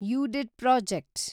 ಯುಡಿಡ್ project